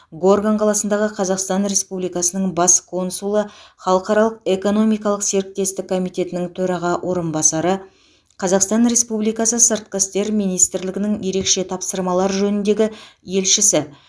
горган қаласындағы қазақстан республикасының бас консулы халықаралық экономикалық серіктестік комитетінің төраға орынбасары қазақстан республикасы сыртқы істер министрлігінің ерекше тапсырмалар жөніндегі елшісі